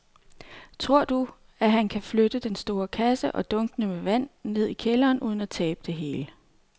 Tror du, at han kan flytte den store kasse og dunkene med vand ned i kælderen uden at tabe det hele?